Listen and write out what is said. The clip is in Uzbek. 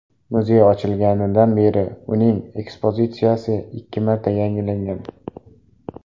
Muzey ochilganidan beri uning ekspozitsiyasi ikki marta yangilangan.